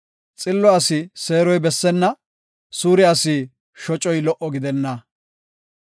Xillo asi seeroy bessenna; suure asi shocoy lo77o gidenna.